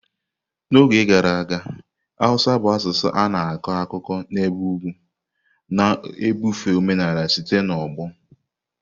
N'oge gara aga, Hausa bụ asụsụ a na-akọ akụkọ n'ebe ugwu, na-ebufe omenala site n'ọgbọ.